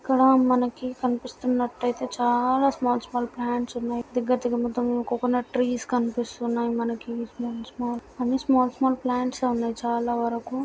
ఇక్కడ మనకి కనిపిస్తున్నట్లయితే చాలా స్మాల్ స్మాల్ ప్లాంట్స్ ఉన్నాయి దగ్గర దగ్గర ఉన్నట్టు మొత్తం కోకోనట్ ప్లాంట్ కనిపిస్తున్నాయి మనకి స్మాల్ స్మాల్ అన్ని స్మాల్ స్మాల్ ప్లాంట్స్ ఉన్నాయి చాలా వరకు.